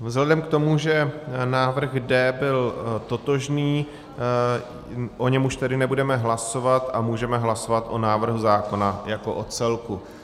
Vzhledem k tomu, že návrh D byl totožný, o něm už tedy nebudeme hlasovat a můžeme hlasovat o návrhu zákona jako o celku.